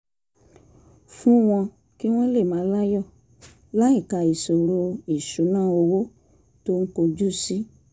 fún wọn kí wọ́n lè máa láyọ̀ láìka ìṣòro ìṣúnná owó tó ń kojú sí